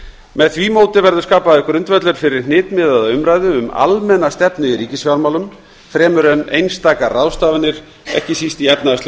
með því móti verður skapaður grundvöllur fyrir hnitmiðaða umræðu um almenna stefnu í ríkisfjármálum fremur en einstakar ráðstafanir ekki síst í efnahagslegu